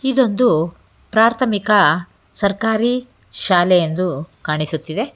ಇದೊಂದು ಪ್ರಾರ್ಥಮಿಕ ಸರ್ಕಾರಿ ಶಾಲೆ ಎಂದು ಕಾಣಿಸುತ್ತಿದೆ.